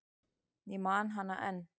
Ég man hana enn.